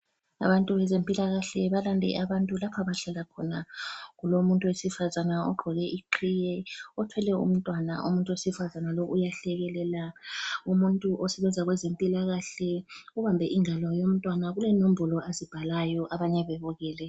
Abantu bezempilakahle balande abantu lapho abahlala khona kulomuntu wesifazana ogqoke iqhiye othwele umntwana umuntu wesifazana lo uyahlekelela umuntu osebenza kwezempilakahle ubambe ingalo yomntwana kulenombolo azibhalayo abanye bebukele.